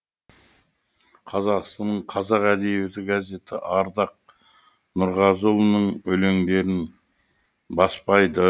қазақстанның қазақ әдебиеті газеті ардақ нұрғазыұлының өлеңдерін баспайды